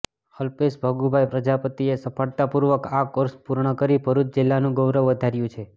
અલ્પેશ ભગુભાઈ પ્રજાપતિએ સફળતા પુર્વક આ કોર્ષ પુર્ણ કરી ભરૃચ જિલ્લાનુ ગૌરવ વધાર્ય્ુ છે